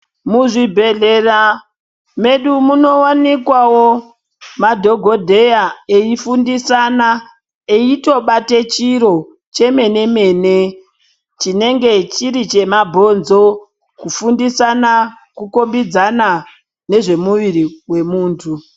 Muzvibhehlera medu munowanikwawo madhogodheya eifundisana eitobate chiro chemene-mene chinenge chiri chemabhonzo kufundisana kukombidzana nezvemuviri wemuntu